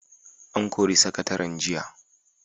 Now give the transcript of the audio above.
An kori sakataren jiya.